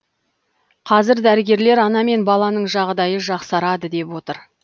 қазір дәрігерлер ана мен баланың жағдайы жақсарады деп отыр